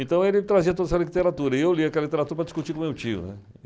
Então ele trazia toda essa literatura e eu lia aquela literatura para discutir com meu tio, né.